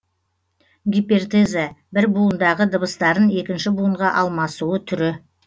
гипертеза бір буындағы дыбыстарын екінші буынға алмасуы түрі